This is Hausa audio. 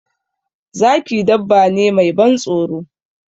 Zaki dabba ne mai ban tsoro.